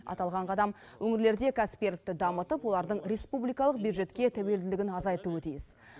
аталған қадам өңірлерде кәсіпкерлікті дамытып олардың республикалық бюджетке тәуелділігін азайтуы тиіс